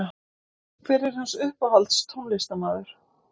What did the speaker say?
hver er hans uppáhalds tónlistarmaður?